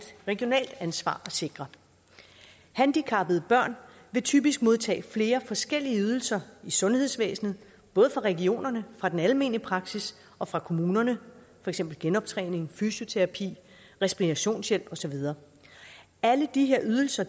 regionalt ansvar at sikre handicappede børn vil typisk modtage flere forskellige ydelser i sundhedsvæsenet både fra regionerne fra den almene praksis og fra kommunerne for eksempel genoptræning fysioterapi respirationshjælp og så videre alle de her ydelser